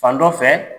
Fan dɔ fɛ